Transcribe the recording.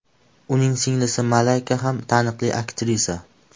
Uning singlisi Malayka ham taniqli aktrisa.